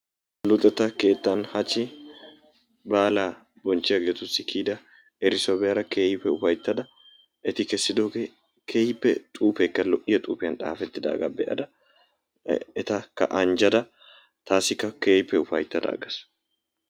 Luxettaa kettaan haachchi baalaa boncchiyaagetu baagaara kiiyida erissuwaa be"ada keehippe ufayttada eti keessido xuufeekka keehippe lo"iyaa xuufiyaan xaafetaagaa be"ada etaka anjjada taassikka keehippe ufayttada aggaas.